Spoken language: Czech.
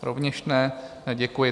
Rovněž ne, děkuji.